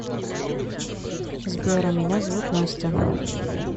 сбер а меня зовут настя